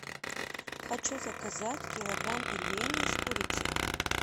хочу заказать килограмм пельменей с курицей